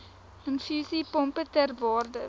infusiepompe ter waarde